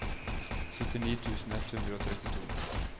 syttini tusen ett hundre og trettito